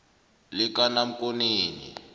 likanamkoneni